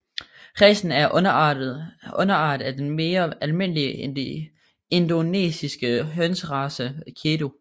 Racen er en underart af den mere almindelige indonesiske hønserace Kedu